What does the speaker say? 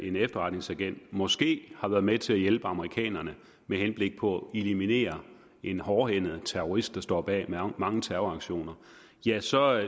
en efterretningsagent måske har været med til at hjælpe amerikanerne med henblik på at eliminere en hårdhændet terrorist der står bag mange terroraktioner ja så